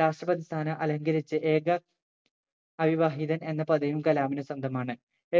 രാഷ്‌ട്രപതി സ്ഥാനം അലങ്കരിച്ച ഏക അവിവാഹിതൻ എന്ന പദവിയും കലാമിന് സ്വന്തമാണ്